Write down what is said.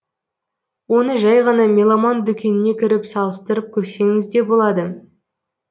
оны жай ғана меломан дүкеніне кіріп салыстырып көрсеңіз де болады